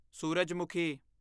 ਸੂਰਜਮੁਖੀ